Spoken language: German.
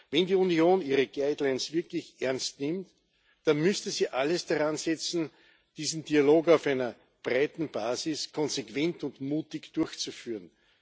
Wenn die Union ihre Leitlinien wirklich ernst nimmt, dann müsste sie alles daran setzen, diesen Dialog auf einer breiten Basis konsequent und mutig durchzuführen.